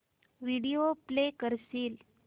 video play करशील